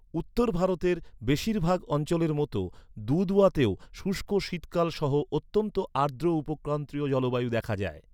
উত্তর ভারতের বেশিরভাগ অঞ্চলের মতো দুধওয়াতেও শুষ্ক শীতকাল সহ অত্যন্ত আর্দ্র উপক্রান্তীয় জলবায়ু দেখা যায়।